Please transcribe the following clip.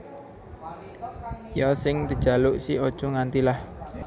Ya sing dejaluk si Aja Nganti lah